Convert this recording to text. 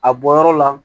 A bɔyɔrɔ la